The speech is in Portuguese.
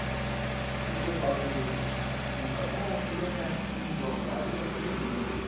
Por isso que eu falo que... Muita gente fala, ah, o fulano é assim, drogado, porque apanhou muito.